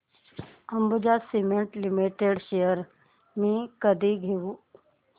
Ambuja cement limited shares मी कधी घेऊ